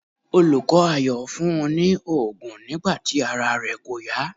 Olùkọ́ Ayọ̀ fún un ní òògùn nígbà tí ara rẹ kò yá.